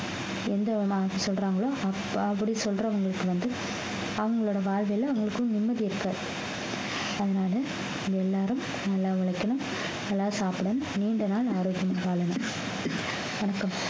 எந்த விதமாக சொல்றாங்களோ அப்~ அப்படி சொல்றவங்களுக்கு வந்து அவங்களோட வாழ்விலே அவங்களுக்கும் நிம்மதி இருக்காது அதனாலே நீங்க எல்லாரும் நல்லா உழைக்கணும் நல்லா சாப்பிடணும் நீண்ட நாள் ஆரோக்கியமா வாழணும் வணக்கம்